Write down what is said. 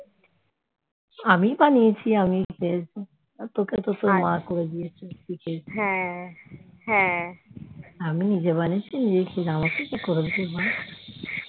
আমি বানিয়েছি, তোকে তো তোর মা করে দিয়েছে আমি নিজে বানিয়েছে নিজে খেলাম আমাকে কে করে দেবে মা